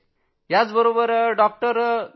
तुम्ही बरे व्हाल अशा गोष्टी करत असायचे